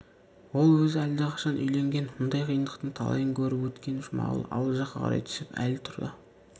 ол өзі әлдеқашан үйленген мұндай қиындықтың талайын көріп өткен жұмағұл ауыл жаққа қарай түсіп әлі тұра